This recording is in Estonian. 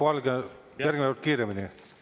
Jaak Valge, järgmine kord kiiremini.